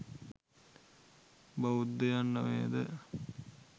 බෞද්ධයන් නොවේද?